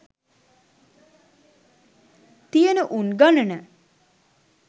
තියන උන් ගණන